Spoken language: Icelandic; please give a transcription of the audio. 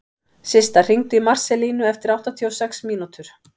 Systa, hringdu í Marselínu eftir áttatíu og sex mínútur.